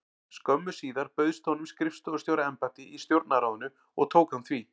Skömmu síðar bauðst honum skrifstofustjóra- embætti í Stjórnarráðinu og tók hann því.